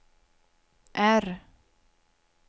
R